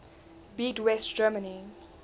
beat west germany